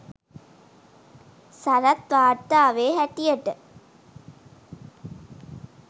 සරත් වාර්තාවේ හැටියට